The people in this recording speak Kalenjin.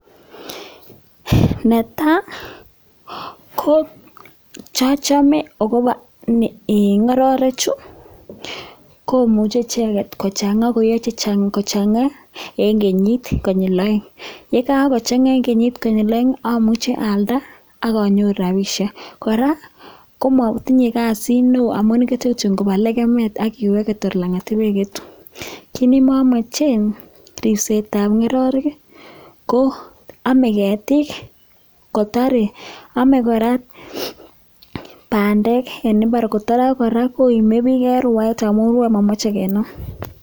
Ne tai ko kit ne achame agobo ng'ororechu, komuche icheget kochang'a ko iiyo che chang ko chang'a en kenyit konyil oeng' ye kagochang'a en kenyit konyil oeng' ii amuche alda ak anyoru rabishek. Kora komotinye kasit neo amun igete kityo koba legemet ak iwege tor lang'at ibegetu. Kit ne momochen ribsetab ng'ororek ii ko ome ketik kotore, ome kora bandek en mbar kotore ak kora koime bik en rwaet amun rwoe momoche kenam